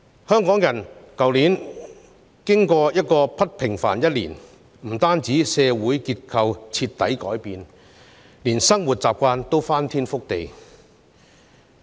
香港人去年經歷了不平凡的一年，不但社會結構徹底改變，連生活習慣也翻天覆地。